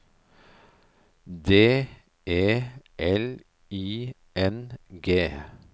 D E L I N G